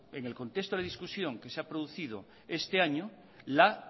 en el contexto de la discusión que se ha producido este año la